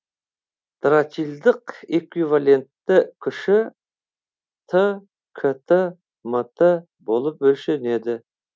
тратилдық эквивалентті күші т кт мт болып өлшенеді